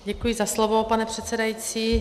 Děkuji za slovo, pane předsedající.